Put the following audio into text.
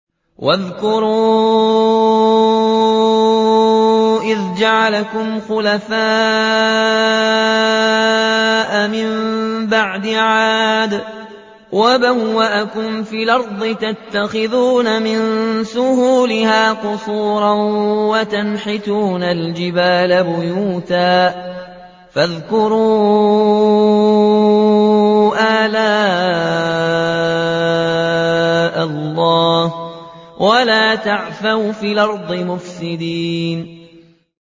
وَاذْكُرُوا إِذْ جَعَلَكُمْ خُلَفَاءَ مِن بَعْدِ عَادٍ وَبَوَّأَكُمْ فِي الْأَرْضِ تَتَّخِذُونَ مِن سُهُولِهَا قُصُورًا وَتَنْحِتُونَ الْجِبَالَ بُيُوتًا ۖ فَاذْكُرُوا آلَاءَ اللَّهِ وَلَا تَعْثَوْا فِي الْأَرْضِ مُفْسِدِينَ